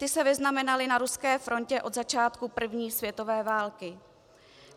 Ty se vyznamenaly na ruské frontě od začátku první světové války.